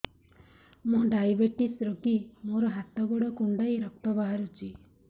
ମୁ ଡାଏବେଟିସ ରୋଗୀ ମୋର ହାତ ଗୋଡ଼ କୁଣ୍ଡାଇ ରକ୍ତ ବାହାରୁଚି